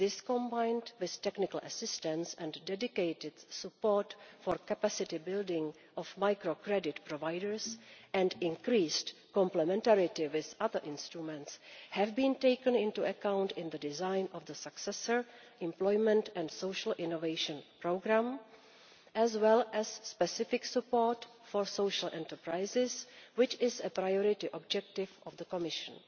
combined with technical assistance and dedicated support for capacity building of microcredit providers and increased complementarity with other instruments, have been taken into account in the design of the successor Employment and Social Innovation programme, as well as specific support for social enterprises, which is a priority objective of the Commission.